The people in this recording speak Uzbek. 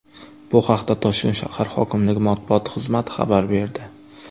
Bu haqda Toshkent shahar hokimligi matbuot xizmati xabar berdi .